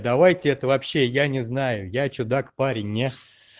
давайте это вообще я не знаю я чудак парень не